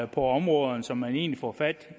på områderne så man egentlig får fat